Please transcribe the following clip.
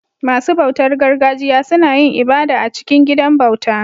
Masu bautar gargajiya suna yin ibada a cikin gidan bauta